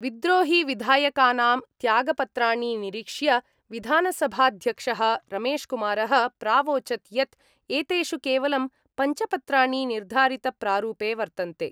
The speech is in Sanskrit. विद्रोहिविधायकानां त्यागपत्राणि निरीक्ष्य विधानसभाध्यक्ष: रमेशकुमारः प्रावोचत् यत् एतेषु केवलं पंच पत्राणि निर्धारितप्रारूपे वर्तन्ते।